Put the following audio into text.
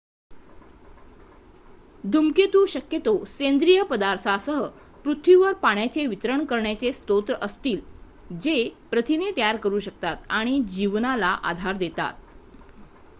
धूमकेतू शक्यतो सेंद्रिय पदार्थांसह पृथ्वीवर पाण्याचे वितरण करण्यारे स्रोत असतील जे प्रथिने तयार करू शकतात आणि जीवनाला आधार देतात